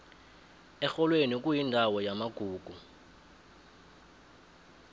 erholweni kuyindawo yamagugu